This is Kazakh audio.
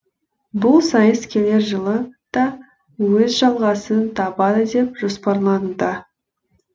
бұл сайыс келер жылы да өз жалғасын табады деп жоспарлануда